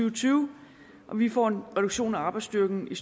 og tyve og vi får en reduktion af arbejdsstyrken i